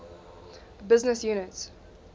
business unit